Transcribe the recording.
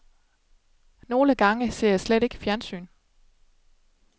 Nogle gange ser jeg slet ikke fjernsyn.